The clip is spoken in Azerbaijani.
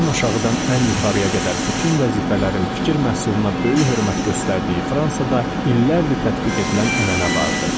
Ən aşağıdan ən yuxarıya qədər bütün vəzifələrin fikir məhsuluna böyük hörmət göstərdiyi Fransada illərdir tətbiq edilən ənənə vardı.